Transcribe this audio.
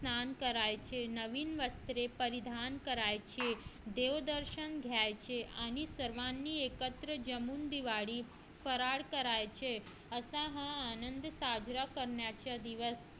स्नान करायचे नवीन वस्त्रे परिधान करायची देवदर्शन घ्यायचे आणि सर्वांनी एकत्र जमून दिवाळी फराळ करायचे असा हा आनंद साजरा करण्याचा दिवस